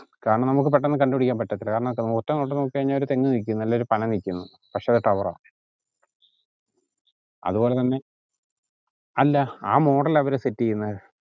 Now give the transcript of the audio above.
കാരണം നമ്മക്ക് പെട്ടെന്ന് കണ്ട്പിടിക്കാൻ പറ്റത്തില്ല കാരണം ഒറ്റ നോട്ടത്തിൽ നോക്കി കഴിഞ്ഞാൽ ഒരു തെങ്ങു നിക്കുന്നു അല്ലേൽ ഒരു പന നിക്കുന്നു പക്ഷേ അത് tower ആ അതുപോലെ തന്നെ അല്ലാ ആ model ലാ അവര് set ചെയ്യുന്നേ